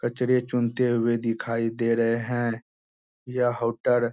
कचरे चुनते हुए दिखाई दे रहे है यह होटल --